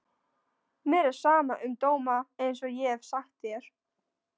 Mér er sama um dóma einsog ég hef sagt þér.